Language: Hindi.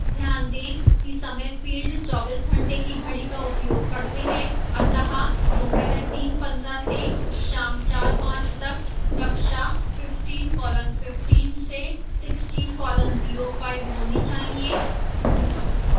ध्यान दें कि समय fields 24घंटे की घड़ी का उपयोग करते हैं अतः दोपहर 3:15 से शाम 4:05 तक कक्षा 15:15 से 16:05 होनी चाहिए